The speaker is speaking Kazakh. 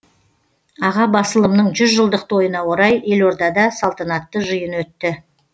аға басылымның жүз жылдық тойына орай елордада салтанатты жиын өтті